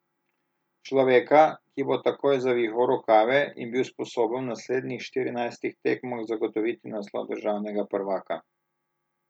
Človeka, ki bo takoj zavihal rokave in bil sposoben v naslednjih štirinajstih tekmah zagotoviti naslov državnega prvaka.